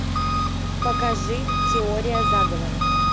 покажи теория заговора